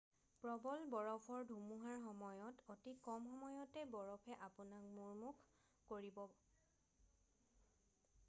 প্ৰবল বৰফ ধুমুহাৰ সময়ত অতি কম সময়তে বৰফে আপোনাক মূমূৰ্ষ কৰিব